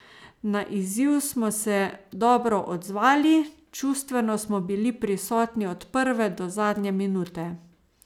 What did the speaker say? Na izziv smo se dobro odzvali, čustveno smo bili prisotni od prve do zadnje minute.